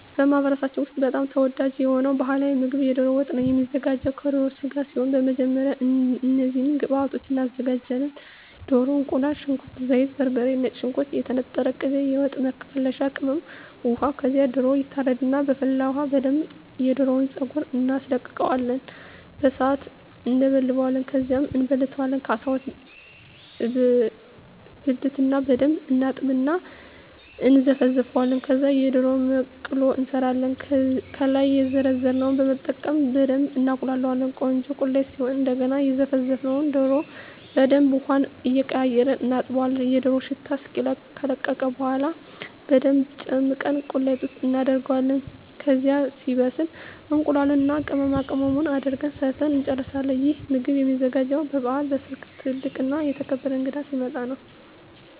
በማኅበረሰባችን ውስጥ በጣም ተወዳጅ የሆነው ባሕላዊ ምግብ ደሮ ወጥ ነው የሚዘጋው ከደሮ ስጋ ሲሆን በመጀመሪያ እነዚህን ግብአቶች እናዘጋጃለን። ደሮ፣ እቁላል፣ ሽንኩርት፣ ዘይት፣ በርበሬ፣ ነጭ ሽንኩርት፣ የተነጠረ ቅቤ፣ የወጥ መከለሻ ቅመም፣ ውሃ ከዛ ደሮው ይታረድና በፈላ ውሀ በደንብ የደሮውን ፀጉር እናስለቅቀውና በሣት እንለበልበዋለን። ከዛ እንበልተዋለን ከ12 እበልትና በደንብ እናጥብና እና እነዘፈዝፈዋለን። ከዛ የደሮ መቅሎ እንሠራለን። ከላይ የዘረዘርነውን በመጠቀም በደብ እናቁላላዋለን ቆንጆ ቁሌት ሲሆን እደገና የዘፈዘፍነውን ደሮ በደንብ ውሀውን እየቀያየርን እናጥበዋለን የደሮው ሽታ እስኪለቅ። ከለቀቀ በኋላ በደንብ ጨምቀን ቁሌት ውስጥ እናደርገዋለን። ከዛ ሲበስል እቁላሉን እና ቅመማቅመሙን አድርገን ሠርተን እንጨርሣለን። ይህ ምግብ የሚዘጋጀው በበዓላት፣ በሠርግ፣ ትልቅ እና የተከበረ እንግዳ ሲመጣ።